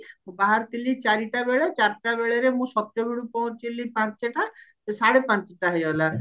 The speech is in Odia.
ମୁଁ ବାହାରିଥିଲି ଚାରିଟାବେଳେ ଚାରିଟାବେଳରେ ମୁଁ ସତ୍ୟଭେଡୁ ପହଞ୍ଚିଳି ପାଞ୍ଚଟା ତ ସାଢେ ପାଞ୍ଚଟା ହେଇଗଲା